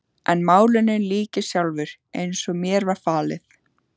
En málinu lýk ég sjálfur, eins og mér var falið.